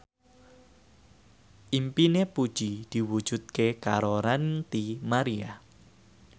impine Puji diwujudke karo Ranty Maria